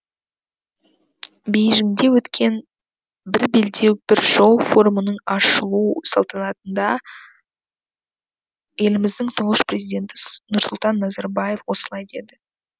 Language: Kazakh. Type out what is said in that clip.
бейжіңде өткен бір белдеу бір жол форумының ашылу салтанатында еліміздің тұңғыш президенті нұрсұлтан назарбаев осылай деді